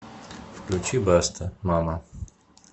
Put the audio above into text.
включи баста мама